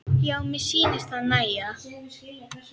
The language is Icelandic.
Já, mér sýnist það nægja!